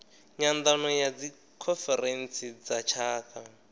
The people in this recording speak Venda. nyandano ya dzikhonferentsi dza tshaka